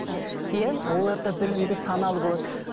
иә олар да білімді саналы болады